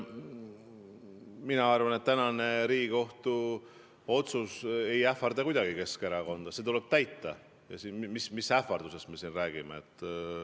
Mina arvan, et tänane Riigikohtu otsus ei ähvarda kuidagi Keskerakonda, seda tuleb täita ja mis ähvardusest me siin räägime.